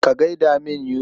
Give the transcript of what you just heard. Ka gai da min Yusuf.